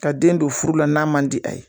Ka den don furula n'a man di a ye